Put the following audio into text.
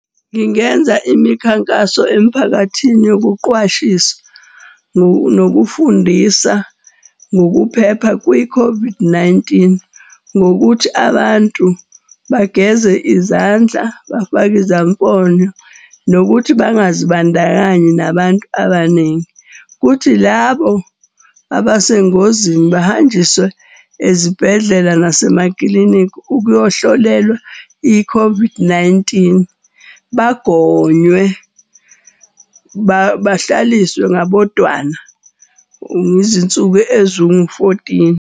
Ngingenza imikhankaso emphakathini yokuqwashisa nokufundisa ngokuphepha kwi-COVID-19. Ngokuthi abantu bageze izandla, bafake izamfonyo nokuthi bangazibandakanyi nabantu abaningi. Kuthi labo abesengozini bahanjiswe ezibhedlela nasemaklinikhi ukuyohlolelwa i-COVID-19. Bagonywe, bahlaliswe ngabodwana ngezinsuku ezingu-fourteen.